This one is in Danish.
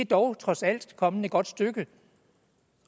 dog trods alt kommet et godt stykke